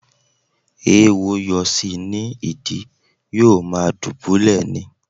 Ééwo yọ sí i ní ìdí, yóò ma dùbúlẹ̀ ni.